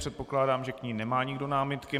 Předpokládám, že k ní nemá nikdo námitky.